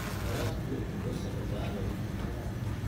Waraabku waxa uu sababaa luminta kheyraadka.